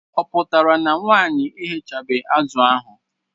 Ọ pụtara na nwaanyi eghechabe azụ ahụ?